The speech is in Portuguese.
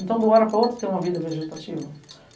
Então, de uma hora para outra, tem uma vida vegetativa.